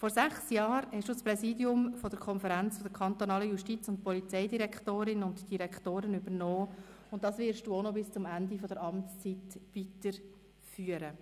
Vor sechs Jahren hast du das Präsidium der Konferenz der Kantonalen Justiz- und Polizeidirektorinnen und -direktoren (KKJPD) übernommen, und dieses Amt wirst du auch noch bis zum Ende deiner Amtszeit weiterführen.